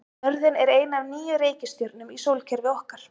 Jörðin er ein af níu reikistjörnum í sólkerfi okkar.